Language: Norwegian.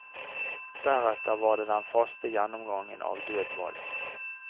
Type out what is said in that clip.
Deretter var det den faste gjennomgangen av dødball.